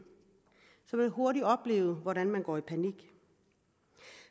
hurtigt opleve hvordan man går i panik